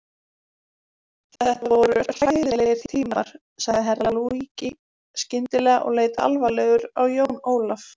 Þetta voru hræðilegir tímar, sagði Herra Luigi skyndilega og leit alvarlegur á Jón Ólaf.